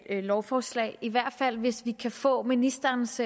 lovforslag i hvert fald hvis vi kan få ministerens